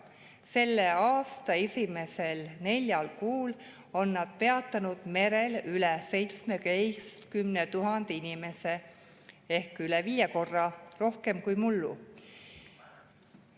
Selle aasta esimesel neljal kuul on nad peatanud merel üle 17 000 inimese ehk üle viie korra rohkem kui mullu.